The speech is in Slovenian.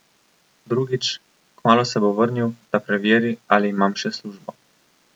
Drugič, kmalu se bo vrnil, da preveri, ali imam še službo.